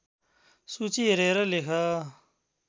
सूची हेरेर लेख